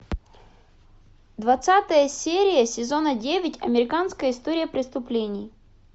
двадцатая серия сезона девять американская история преступлений